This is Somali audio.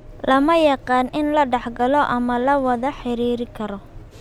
Lama yaqaan in la dhaxlo ama la wada xiriiri karo.